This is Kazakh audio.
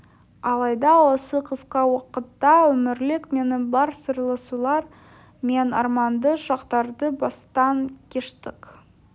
алайда осы қысқа уақытта өмірлік мәні бар сырласулар мен арманды шақтарды бастан кештік